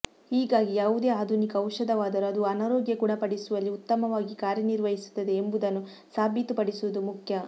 ಹೀಗಾಗಿ ಯಾವುದೇ ಆಧುನಿಕ ಔಷಧವಾದರೂ ಅದು ಅನಾರೋಗ್ಯ ಗುಣಪಡಿಸುವಲ್ಲಿ ಉತ್ತಮ ವಾಗಿ ಕಾರ್ಯ ನಿರ್ವಹಿಸುತ್ತದೆ ಎಂಬು ದನ್ನು ಸಾಬೀತುಪಡಿಸುವುದು ಮುಖ್ಯ